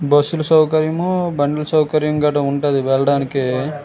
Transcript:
బస్సులు సౌకర్యం బండ్లు సౌకర్యం ఇక్కడ ఉంది.